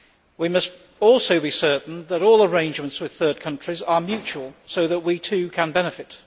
We must also be certain that all arrangements with third countries are mutual so that we too can benefit.